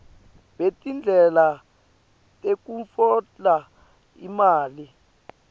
betindlela tekutfola imali